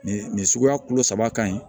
Nin nin suguya kulo saba ka ɲi